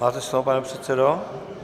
Máte slovo, pane předsedo.